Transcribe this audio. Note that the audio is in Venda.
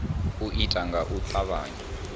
u itwa nga u tavhanya